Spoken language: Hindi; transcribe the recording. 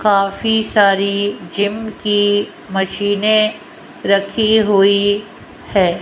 काफी सारी जिम की मशीनें रखी हुई है।